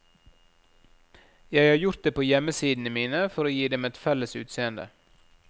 Jeg har gjort det på hjemmesidene mine for å gi dem et felles utseende.